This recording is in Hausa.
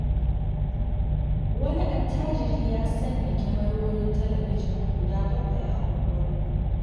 Wani attajiri ya sanya kyamarorin talabijin guda 7 a unguwarmu.